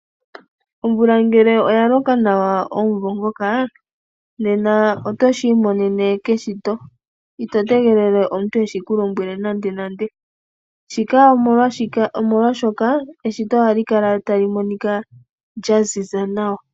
Omvula ngele oyaloka nawa omumvo ngoka, nena oto shiimonene keshito, ito tegelele omuntu eshi kulombwele nande nande. Shika omolwaashoka, eshito oha li kala ta li monika lyaziza nawa.